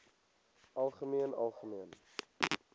algemeen algemeen